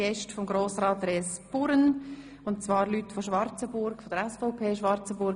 Es handelt sich um Gäste von Grossrat Res Burren und zwar um Mitglieder der SVP Schwarzenburg.